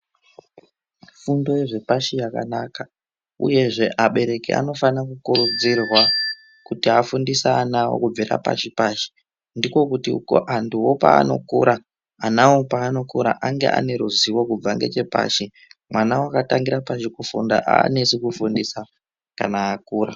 Fundo zvepashi yakanaka uyezve abereki anofana kukurudzirwa kuti afundise ana awo kubvira pashi pashi ndiko kuti ko antuwo paanokura ana awo paanokura ange ane ruzivo kubva ngechepaShi mwana wakatangira pashi kufunda aanesi kufundisa kana akura.